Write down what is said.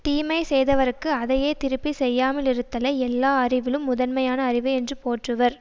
தீமை செய்தவர்க்கு அதையே திருப்பி செய்யாமலிருத்தலை எல்லா அறிவிலும் முதன்மையான அறிவு என்று போற்றுவர்